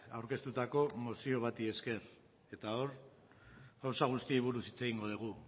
aurkeztutako mozio bati esker eta hor gauza guztiei buruz hitz egingo dugu